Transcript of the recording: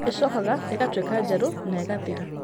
ĩcokaga ĩgatuĩka njerũ na ĩgathira.